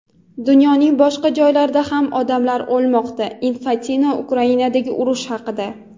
Dunyoning boshqa joylarida ham odamlar o‘lmoqda – Infantino Ukrainadagi urush haqida.